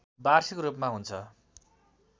वार्षिक रूपमा हुन्छ